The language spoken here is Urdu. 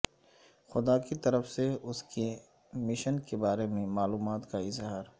خدا کی طرف سے اس کے مشن کے بارے میں معلومات کا اظہار